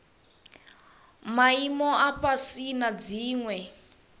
maimo a fhasi na dziwe